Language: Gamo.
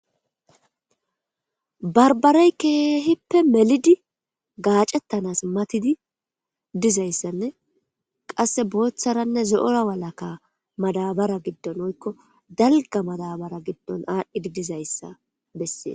barbarey keehippe melidi gaacettanas matidi dizayssanne qasse booththaranne zo'ora walaka madabara giddon woykko dalga madabara giddon aadhdhidi dizayssa bessees